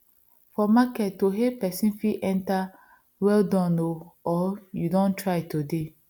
for market to hail person fit enter well Accepted o or you don try today